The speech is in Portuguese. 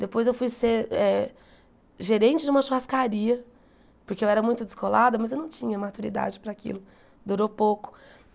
Depois eu fui ser eh gerente de uma churrascaria, porque eu era muito descolada, mas eu não tinha maturidade para aquilo, durou pouco.